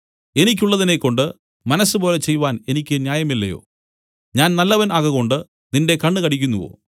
എനിക്കുള്ളതിനെക്കൊണ്ട് മനസ്സുപോലെ ചെയ്‌വാൻ എനിക്ക് ന്യായമില്ലയോ ഞാൻ നല്ലവൻ ആകകൊണ്ട് നിന്റെ കണ്ണ് കടിക്കുന്നുവോ